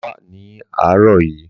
Bàbá wá ní àárọ̀ yìí.